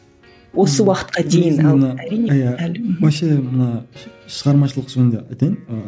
осы уақытқа дейін вообще ана шығармашылық жөнінде айтайын ыыы